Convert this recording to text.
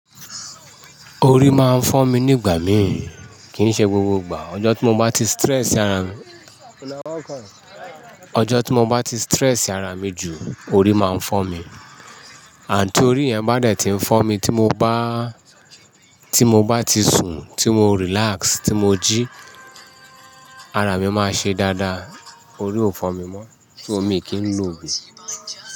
Orí máa ń fọ́ mi nígbà mí, kì í ṣe gbogbo ìgbà. Ọjọ́ tí mo bá ti stress ara mi, ọjọ́ tí mo bá ti stress ara mi jù, orí máa ń fọ́ mi. Ti orí yẹn bá dẹ̀ ti ń fọ́ mi tí mo bá, tí mo bá ti sùn, tí mo relax, tí mo jí, ara mi máa ṣe dáadáa, orí ò fọ́ mi mọ́, so mi kí ń lòò ogun.